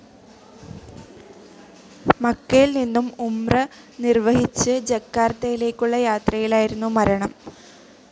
മക്കയിൽ നിന്നും ഉംറ നിർവഹിച്ച് ജക്കാർത്തയിലേക്കുള്ള യാത്രയിലായിരുന്നു മരണം.